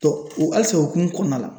halisa o hokumu kɔnɔna la